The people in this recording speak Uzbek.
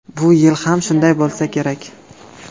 Bu yil ham shunday bo‘lsa kerak.